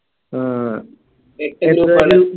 അഹ്